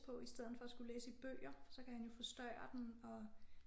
På i stedet for at skulle læse i bøger så kan han jo forstørre den og